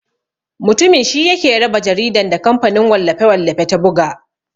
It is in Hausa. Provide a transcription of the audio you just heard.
Mutumin shi yake raba jaridan da kamfanin wallafe-wallafe ta buga.